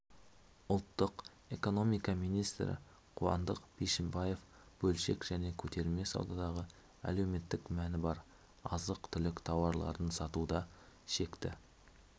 ұлттық экономика министрі қуандық бишімбаев бөлшек және көтерме саудадағы әлеуметтік мәні бар азық-түлік тауарларын сатуда шекті